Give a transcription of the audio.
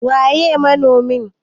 Waƴe ne manomi?